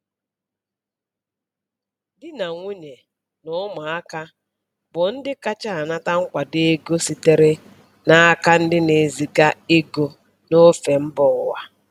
Di na nwunye na ụmụaka bụ ndị kacha anata nkwado ego sitere n’aka ndị na-eziga ego n’ofe mba ụwa.